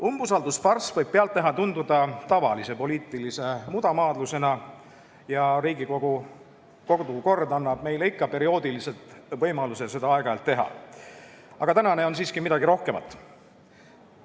Umbusaldusfarss võib pealtnäha tunduda tavalise poliitilise mudamaadlusena ja Riigikogu kodukord annab meile võimaluse seda aeg-ajalt teha, aga tänane on siiski midagi rohkemat.